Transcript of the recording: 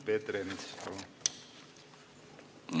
Peeter Ernits, palun!